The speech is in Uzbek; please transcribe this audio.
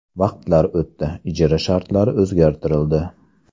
Vaqtlar o‘tdi, ijara shartlari o‘zgartirildi.